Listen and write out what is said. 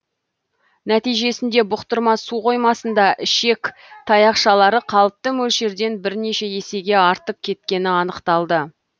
нәтижесінде бұқтырма су қоймасында ішек таяқшалары қалыпты мөлшерден бірнеше есеге артып кеткені анықталды